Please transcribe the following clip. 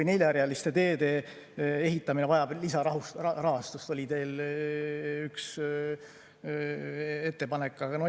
Ka neljarealiste teede ehitamine vajab lisarahastust – see oli teil üks ettepanek.